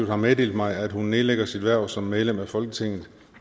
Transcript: har meddelt mig at hun nedlægger sit hverv som medlem af folketinget